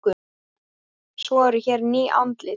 Svo eru hér ný andlit.